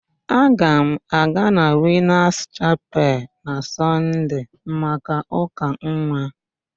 Aga m aga na Winas Chapel na Sọnde maka ụ́ka nwa.